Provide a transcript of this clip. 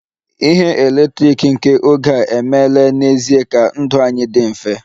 Ihe eletrik nke oge a emeela n'ezie ka ndụ anyị dị mfe